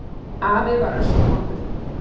Afi var öskuvondur.